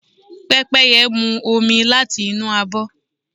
Pẹ́pẹ́yẹ́ mú omi láti inú abọ́.